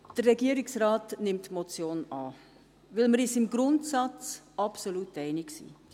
Der Regierungsrat nimmt die Motion an, weil wir uns im Grundsatz absolut einig sind: